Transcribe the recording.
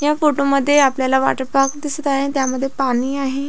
या फोटो मध्ये आपल्याला वाॅटर पार्क दिसत आहे त्यामध्ये पाणी आहे.